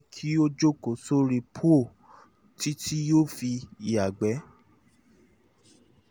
jẹ́ kí ó jókòó sórí póò um títí yóò fi ya ìgbẹ́